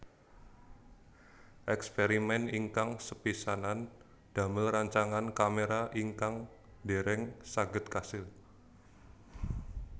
Èkspèrimèn ingkang sepisanan damel rancangan kaméra ingkang dèrèng saged kasil